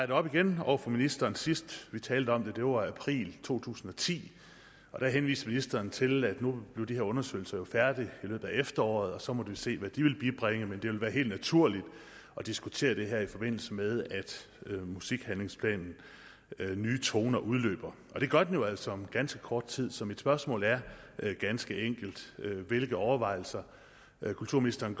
det op igen over for ministeren sidst vi talte om det var i april to tusind og ti og der henviste ministeren til at nu blev de her undersøgelser jo færdige i løbet af efteråret og så måtte vi se hvad de ville bibringe men det ville være helt naturligt at diskutere det her i forbindelse med at musikhandlingsplanen nye toner udløber og det gør den jo altså om ganske kort tid så mit spørgsmål er ganske enkelt hvilke overvejelser gør kulturministeren